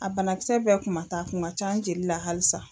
A banakisɛ bɛɛ kun ma taa a kun ka ca n jeli la halisa.